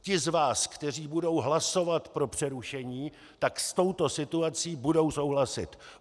Ti z vás, kteří budou hlasovat pro přerušení, tak s touto situací budou souhlasit.